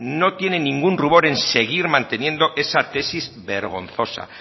no tienen ningún rubor en seguir manteniendo esa tesis vergonzosa